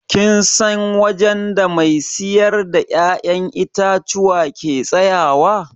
Kin san wajen da mai siyar da ya'yan itatuwa ke tsayawa?